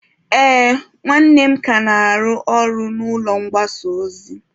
Ee, nwanne m ka na-arụ ọrụ n'ụlọ mgbasa ozi.